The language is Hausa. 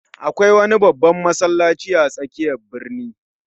Akwai wani babban masallaci a tsakiyar birni